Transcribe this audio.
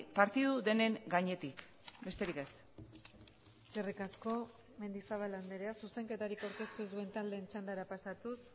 partidu denen gainetik besterik ez eskerrik asko mendizabal andrea zuzenketarik aurkeztu ez duen taldeen txandara pasatuz